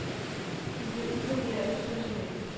Du bliver upopulær hos personalet.